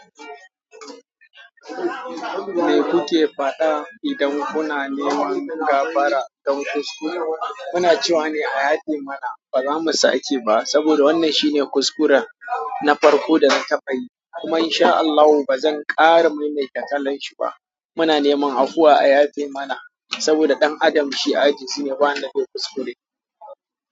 Me kuke faɗa idan kuna neman gafara dan kuskure muna cewa ne a yafe mana bazamu sake ba saboda wannan shine kuskuren na farko da na taɓayi. Kuma in sha Allahu ba zan ƙara maimaita kalan shi ba. Muna neman afuwa a yadi mana saboda ɗan adam shi aji zi ne ba wan da bai kuskure.